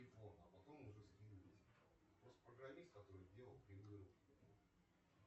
сбер что такое углеводы